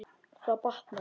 Það batnar.